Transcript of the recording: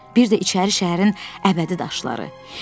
Bir də içəri şəhərin əbədi daşları.